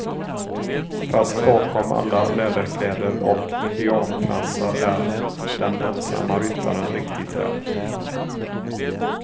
Fast bakom alla läderkläder och indianfransar är den ensamma ryttaren riktigt rädd.